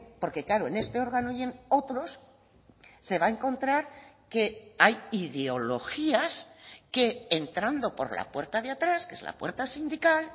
porque claro en este órgano y en otros se va a encontrar que hay ideologías que entrando por la puerta de atrás que es la puerta sindical